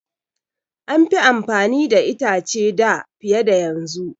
An fi amfani da itace da fiye da yanzu.